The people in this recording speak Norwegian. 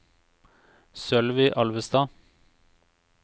Sølvi Alvestad